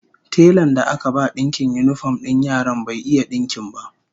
Telan da aka ba dinkin yinifom din yaran bai iya dinkin ba